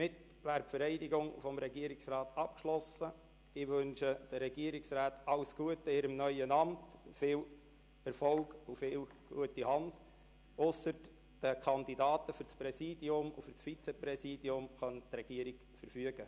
Die Regierungsmitglieder dürfen mit Ausnahme der Kandidaten für das Präsidium und das Vizepräsidium den Saal verlassen.